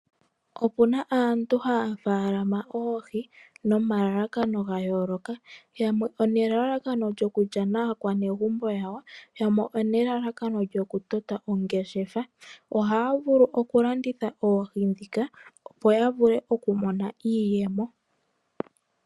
Opuna aantu haya munu oohi nomalalakano gayooloka. Yamwe onelalakano lyoku lya naakwanegumbo yawo yamwe onelalakano lyoku tota oongeshefa. Ohaya vulu okulanditha oohi opo yavule okumona iiyemo.